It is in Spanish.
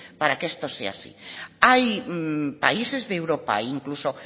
para que esto sea así hay países de europa incluso